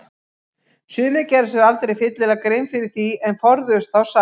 Sumir gerðu sér aldrei fyllilega grein fyrir því en forðuðust þá samt.